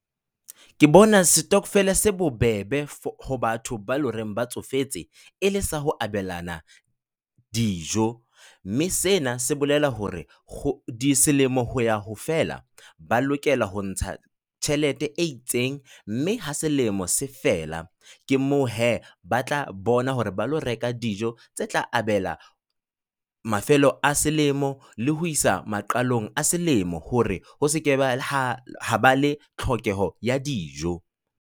Ke bona setokofele se bobebe ho batho ba ele horeng ba tsofetseng e le sa ho abelana dijo. Mme sena se bolela hore selemo ho ya ho fela ba lokela ho ntsha tjhelete e itseng. Mme ha selemo se fela ke moo hee ba tla bona hore ba lo reka dijo tse tla abela mafelo a selemo le ho isa maqalong a selemo hore ho se ke ba le ha ha ba le tlhokeho ya dijo.